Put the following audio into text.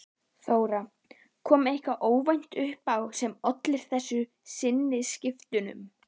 Þóra: Kom eitthvað óvænt upp á sem olli þessum sinnaskiptum?